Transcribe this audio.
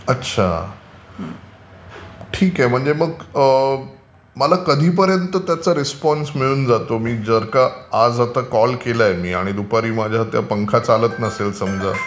अच्छा. ठीक आहे म्हणजे मग माला कधीपर्यन्त त्याचा रिस्पॉन्स मिळतो मी जर का आज कॉल केलाय मी आणि दुपारी समजा माझा पंखा चालत नसेल समजा...